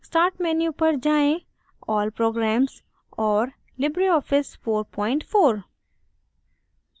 start menu पर जाएँ → all programs और libreoffice 44